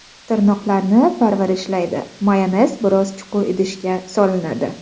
Tirnoqlarni parvarishlaydi Mayonez biroz chuqur idishga solinadi.